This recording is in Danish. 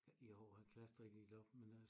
I år er klasser ikke delt op men øh